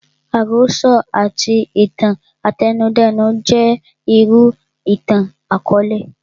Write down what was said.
Àròsọ àti itan àtẹnudẹ́nu jẹ́ irú ìtàn àkọọlẹ